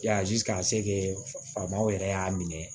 Yazi ka se kɛ faamaw yɛrɛ y'a minɛ